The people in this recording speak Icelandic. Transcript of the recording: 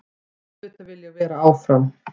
Auðvitað vil ég vera áfram.